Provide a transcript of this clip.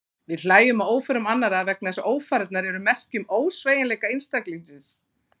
Við hlæjum að óförum annarra vegna þess að ófarirnar eru merki um ósveigjanleika einstaklingsins.